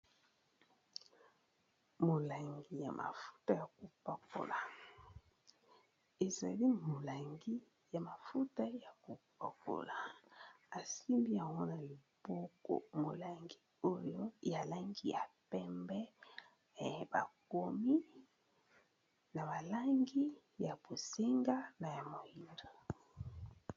molangi ya mafuta ya kopakola ezali molangi ya mafuta ya kopakola asimbi awana liboko molangi oyo yalangi ya pembe bakomi na balangi ya bosenga na ya moindo